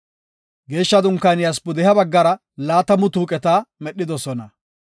Geeshsha Dunkaaniyas pudeha baggara laatamu tuuqeta medhidosona.